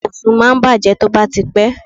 Ibùsùn máa ń bàjé tó bá ti pé.